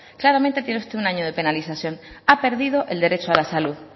claramente tiene usted un año de penalización ha perdido el derecho a la salud